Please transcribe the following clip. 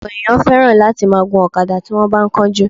Ọ̀pọ̀ èèyàn fẹ́ràn láti máa gun ọ̀kadà bí wọ́n bá ń kánjú